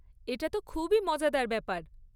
এটা তো খুবই মজাদার ব্যাপার।